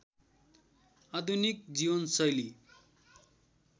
आधुनिक जीवनशैली